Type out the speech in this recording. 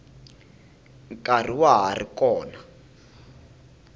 nkarhi wa ha ri kona